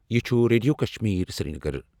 یہ چھُ ریڈیو کشمیر سرینگر۔